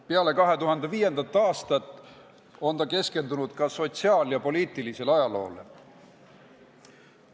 Peale 2005. aastat on ta keskendunud ka sotsiaal- ja poliitilisele ajaloole.